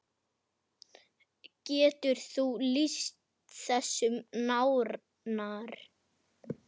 Bregður líka fyrir í ljóði.